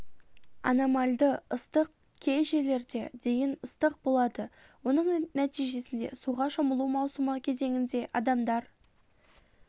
анамальды ыстық кей жерлерде дейін ыстық болады оның нәтижесінде суға шомылу маусымы кезеңінде адамдар